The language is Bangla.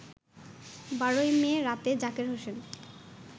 ১২ মে রাতে জাকের হোসেন